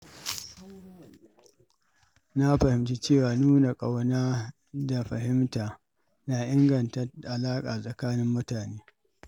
Na fahimci cewa nuna ƙauna da fahimta na inganta alaƙa tsakanin mutane.